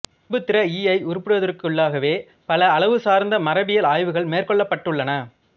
பண்புத்திற ஈஐ உருப்படிவத்திற்குள்ளாகவே பல அளவுசார்ந்த மரபியல் ஆய்வுகள் மேற்கொள்ளப்பட்டுள்ளன